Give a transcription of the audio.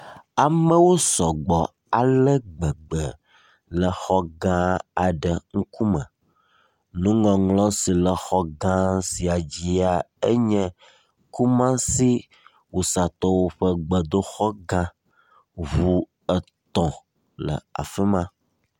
amewo sɔgbɔ alegbegbe le exɔ gã aɖe ŋkume nuŋɔŋlɔ si le xɔ gã sia dzia enye kumasi wusatɔwo ƒe gbedoxɔ gã ʋu etɔ̃ le afima